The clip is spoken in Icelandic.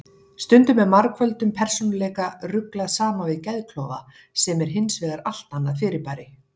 Stundum er margföldum persónuleika ruglað saman við geðklofa sem er hins vegar allt annað fyrirbæri.